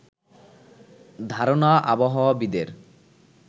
ধারণা আবহাওয়াবিদের